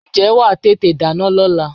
Ǹjẹ́ wà á tètè dáná lọ́la?